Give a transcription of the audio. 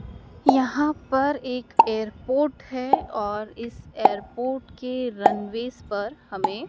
यहां पर एक एयरपोर्ट है और इस एयरपोर्ट के रनवेश पर हमें--